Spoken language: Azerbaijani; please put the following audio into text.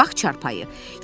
Odur bax çarpayı.